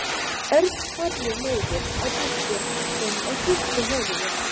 Örn horfði niður á diskinn sinn og hristi höfuðið.